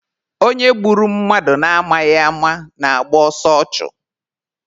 Onye gburu mmadụ na amaghị ama na-agba ọsọ ọchụ.